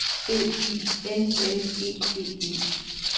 B I L L E D E